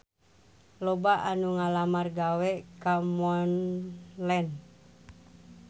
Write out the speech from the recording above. Loba anu ngalamar gawe ka Montblanc